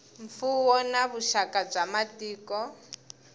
mfuwo na vuxaka bya matiko